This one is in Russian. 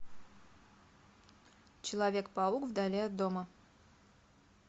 человек паук вдали от дома